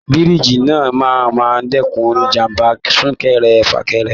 Bíríijí náà máa n dẹkùn ìjàmbá sunkẹ́rẹ́-fakẹ́rẹ́.